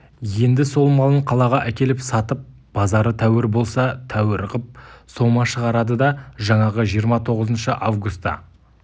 енді сол малын қалаға әкеліп сатып базары тәуір болса тәуір қып сома шығарады да жаңағы жиырма тоғызыншы августа